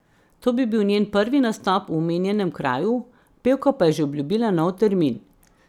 To bi bil njen prvi nastop v omenjenem kraju, pevka pa je že obljubila nov termin.